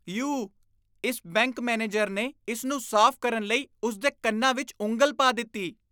you ਇਸ bank manager ਨੇ ਇਸ ਨੂੰ ਸਾਫ਼ ਕਰਨ ਲਈ ਉਸ ਦੇ ਕੰਨਾਂ ਵਿੱਚ ਉਂਗਲ ਪਾ ਦਿੱਤੀ